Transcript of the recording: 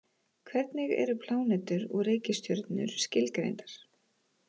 Hvernig eru plánetur og reikistjörnur skilgreindar?